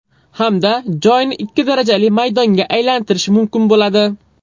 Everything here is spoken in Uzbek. Hamda joyni ikki darajali maydonga aylantirish mumkin bo‘ladi.